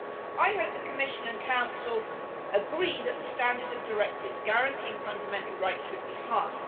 I hope the Commission and Council agree that the standard of directives guaranteeing fundamental rights should be high.